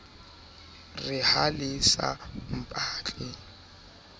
re ha le sa mpatla